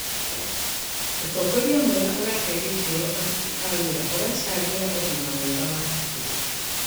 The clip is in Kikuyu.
Ũtongoria mwega ũrahe gĩtĩo aruti a wĩra ũracangĩra ũgima mwega wa hakiri.